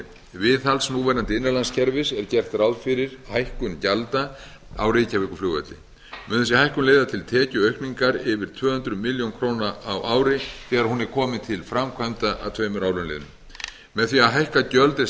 viðhalds núverandi innanlandskerfis er gert ráð fyrir hækkun gjalda á reykjavíkurflugvelli mun þessi hækkun leiða til tekjuaukningar yfir tvö hundruð fimmtíu milljónir króna á ári þegar hún verður komin til framkvæmda að tveimur árum liðnum með því að hækka gjöld er